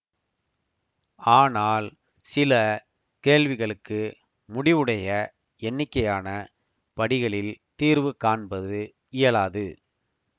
ஆனால் சில கேள்விகளுக்கு முடிவுடைய எண்ணிக்கையான படிகளில் தீர்வு காண்பது இயலாது